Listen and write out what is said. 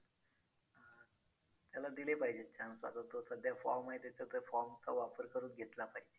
त्याला दिले पाहिजे chance आता तो सध्या form आहे त्याचा तर form चा वापर करून घेतला पाहिजे.